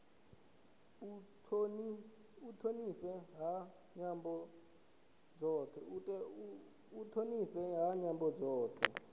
u thonifhiwa ha nyambo dzothe